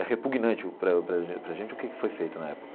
É repugnante para para a gente o que foi feito na época.